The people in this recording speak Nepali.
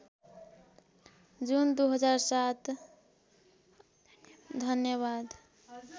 जुन २००७ धन्यवाद